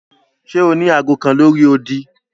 Ṣe o ni aago kan lori odi?